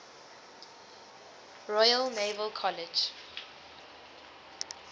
royal naval college